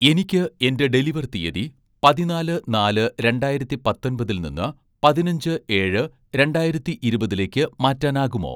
എനിക്ക് എന്‍റെ ഡെലിവർ തീയ്യതി പതിനാല് -നാല് -രണ്ടായിരത്തി പത്തൊൻപതിൽ നിന്ന്, പതിനഞ്ച്-ഏഴ്-രണ്ടായിരത്തി ഇരുപതിലേക്ക് മാറ്റാനാകുമോ